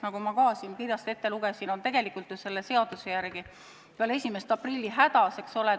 Nagu ma ka sellest kirjast teile ette lugesin, nad on tegelikult selle seaduse tõttu pärast 1. aprilli hädas.